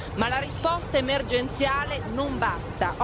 Ma la risposta emergenziale non basta.